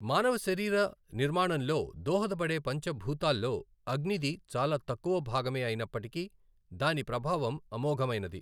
మానవ శరీర నిర్మాణంలో దోహద పడే పంచభూతాల్లో అగ్నిది చాలా తక్కువ భాగమే అయినప్పటికీ దాని ప్రభావం అమోఘమైనది.